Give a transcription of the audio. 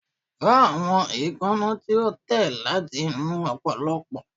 Fọ awọn eekanna ti o tẹ lati inu opoplopo